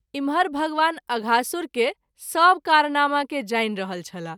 इम्हर भगवान अघासुर के सभ कारनामा के जानि रहल छलाह।